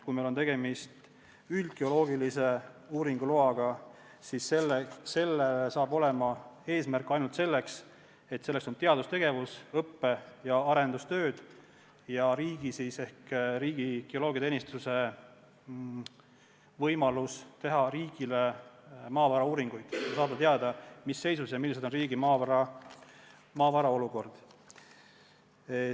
Kui meil on tegemist üldgeoloogilise uurimistöö loaga, siis selle eesmärk saab olla ainult teadustegevus, õppe- ja arendustööd ja riigi ehk riigi geoloogiateenistuse võimalus teha riigile maavarauuringuid, et saada teada, mis seisus on riigi maavarad ja milline on nende olukord.